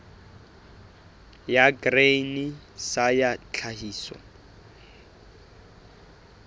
ya grain sa ya tlhahiso